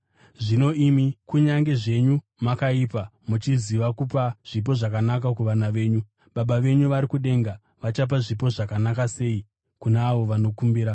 Zvino imi, kunyange zvenyu makaipa, muchiziva kupa zvipo zvakanaka kuvana venyu, Baba venyu vari kudenga vachapa zvipo zvakanaka sei kuna avo vanokumbira!